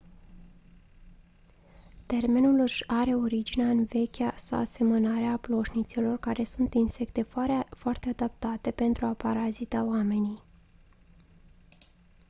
termenul își are originea în vechea asemănare cu ploșnițele care sunt insecte foarte adaptate pentru a parazita oamenii